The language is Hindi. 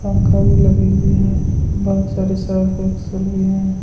पंखा भी लगी हुई हैं बहुत सारे सर्फ एक्सेल भी हैं।